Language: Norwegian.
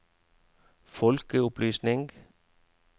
folkeopplysning